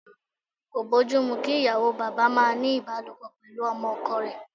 Kò bójú mu kí ìyàwó bàbá máa ní ìbálòpọ̀ pẹ̀lú ọmọ ọkọ rẹ̀.